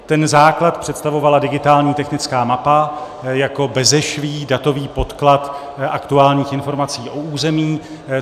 Ten základ představovala digitální technická mapa jako bezešvý datový podklad aktuálních informací o území.